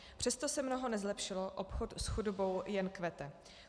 Přesto se mnoho nezlepšilo, obchod s chudobou jen kvete.